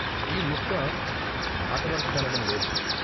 ఈ ముక్క మాటవరస కనడంలేదు.